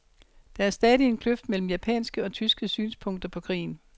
Der er stadig en kløft mellem japanske og tyske synspunkter på krigen.